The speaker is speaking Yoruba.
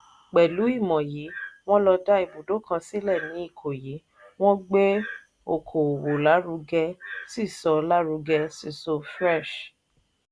pẹ̀lú ìmọ̀ yìí wọ́n lo dá ibùdó kan sílẹ̀ ní ìkòyí wọ́n gbé oko òwò lárugẹ sí so lárugẹ sí so fresh.